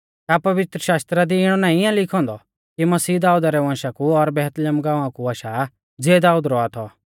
का पवित्रशास्त्र दी इणौ नाईं आ लिखौ औन्दौ कि मसीह दाऊद रै वंशा कु और बैतलहम गाँवा कु आशा ज़िऐ दाऊद रौआ थौ